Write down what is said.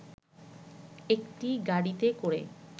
একটি গাড়িতে করে